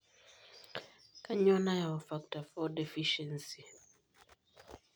Kanyio nayau Factor V deficiency?